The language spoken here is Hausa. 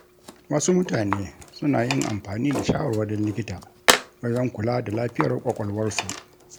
Wasu mutane suna yin amfani da shawarwarin likita wajen kula da lafiyar ƙwaƙwalwarsu.